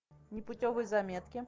непутевые заметки